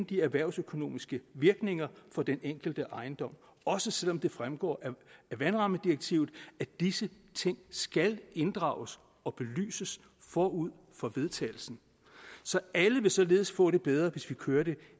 de erhvervsøkonomiske virkninger for den enkelte ejendom også selv om det fremgår af vandrammedirektivet at disse ting skal inddrages og belyses forud for vedtagelsen så alle vil således få det bedre hvis vi kører det